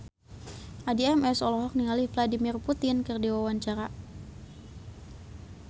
Addie MS olohok ningali Vladimir Putin keur diwawancara